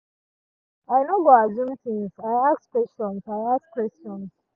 i no go assume ting i ask questions i ask questions